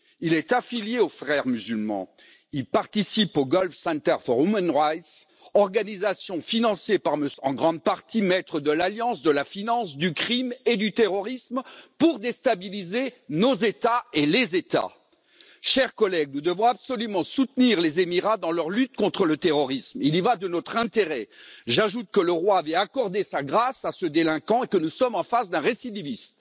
Il est affilié aux Frères musulmans, il participe au Gulf Center for Human Rights, organisation financée en grande partie par M. Soros, maître de l'alliance de la finance, du crime et du terrorisme pour déstabiliser nos États et les États. Chers collègues, nous devons absolument soutenir les Émirats dans leur lutte contre le terrorisme, il y va de notre intérêt. J'ajoute que le roi avait accordé sa grâce à ce délinquant et que nous sommes en face d'un récidiviste.